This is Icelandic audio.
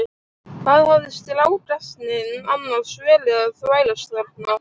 Hvað hafði strákasninn annars verið að þvælast þarna?